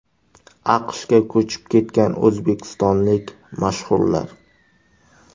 AQShga ko‘chib ketgan o‘zbekistonlik mashhurlar .